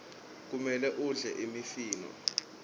kumele udle imifino